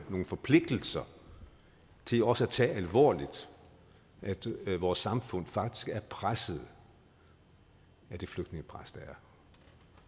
forpligtelser til også at tage alvorligt at vores samfund faktisk er presset af det flygtningepres der er